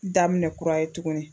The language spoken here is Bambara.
Daminɛ kura ye tuguni